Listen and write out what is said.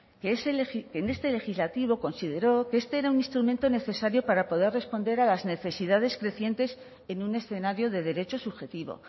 que en este legislativo consideró que este era un instrumento necesario para poder responder a las necesidades crecientes en un escenario de derecho subjetivo